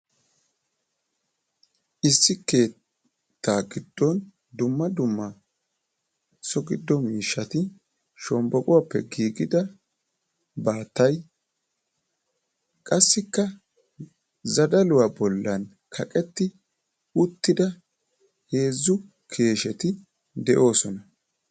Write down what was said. Issi keettaa giddon dumma dumma so giddo miishshati shombboquwappe giigida baattay qassikka zadaluwa bollan kaqetti uttida 3u keesheti de'oosona.